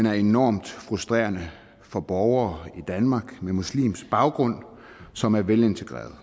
er enormt frustrerende for borgere med muslimsk baggrund som er velintegrerede